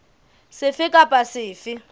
sefe kapa sefe se ka